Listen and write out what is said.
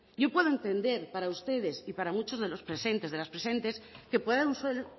yo puedo entender para ustedes y para muchos de los presentes de las presentes que puedan usar